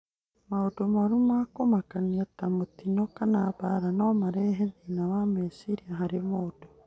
Maũndũ moru ma kũmakania ta mĩtino kana mbaara no marehe thĩna wa meciria harĩ mũndũ.